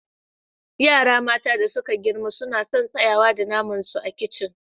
Yara mata da suka girma suna sun tsayawa da naman su a kicin.